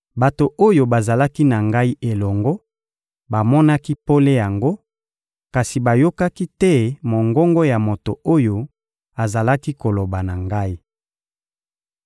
Bato oyo bazalaki na ngai elongo bamonaki pole yango, kasi bayokaki te mongongo ya moto oyo azalaki koloba na ngai.